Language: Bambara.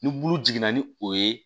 Ni bulu jiginna ni o ye